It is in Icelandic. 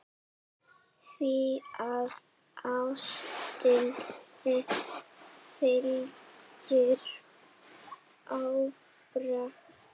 Því að ástinni fylgir ábyrgð.